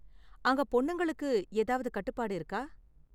அங்க பொண்ணுங்களுக்கு ஏதாவது கட்டுப்பாடு இருக்கா?